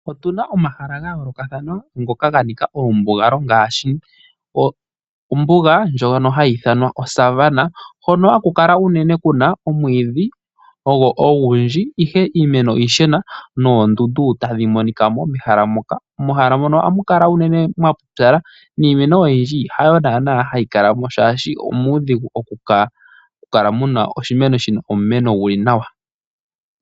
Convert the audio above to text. Otu na omahala ga yoolokathana ngoka ga nika omambugalo ngaashi ombuga ndjono hayi ithanwa oSavannah hono haku kala unene ku na omwiidhi ogwo ogundji ashike iimeno iishona noondundu tadhi monika mo mehala moka. Mehala mono ohamu kala unene mwapupyala niimeno oyindji hayo naanaa hayi kala mo shaashi omuudhigu okukala mu na oshimeno sha mena nawa.